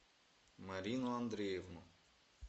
марину андреевну